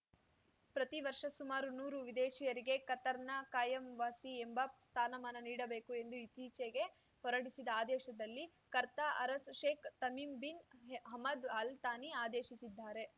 ಪ್ರತಿ ವರ್ಷ ಸುಮಾರು ನೂರು ವಿದೇಶೀಯರಿಗೆ ಕತಾರ್‌ನ ಕಾಯಂ ವಾಸಿ ಎಂಬ ಸ್ಥಾನಮಾನ ನೀಡಬೇಕು ಎಂದು ಇತ್ತೀಚೆಗೆ ಹೊರಡಿಸಿದ ಆದೇಶದಲ್ಲಿ ಕರ್ತಾ ಅರಸ್ Sheikh Tamim bin Hamad Al Thani ಆದೇಶಿಸಿದ್ದಾರೆ